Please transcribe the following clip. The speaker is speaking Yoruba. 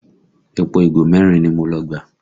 Epo ìgò merin ni mo lọ gbà